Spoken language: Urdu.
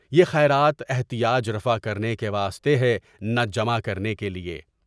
یہ خیرات احتیاج رفع کرنے کے واسطے ہے نہ جمع کرنے کے لیے۔